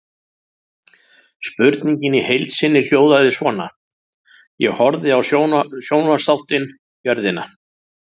Spurningin í heild sinni hljóðaði svona: Ég horfði á sjónvarpsþáttinn Jörðina.